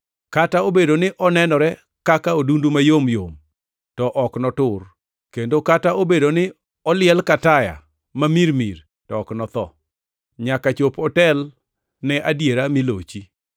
Kata obedo ni onenore kaka odundu mayom yom to ok notur, kendo kata obedo ni oliel ka taya ma mirimiri to ok notho, nyaka chop otel ne adiera mi lochi.